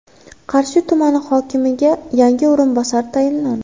Qarshi tumani hokimiga yangi o‘rinbosar tayinlandi.